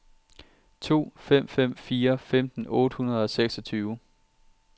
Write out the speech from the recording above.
to fem fem fire femten otte hundrede og seksogtyve